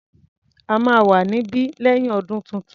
A máa wà níbí lẹ́yìn ọdún tuntun.